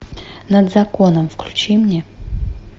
над законом включи мне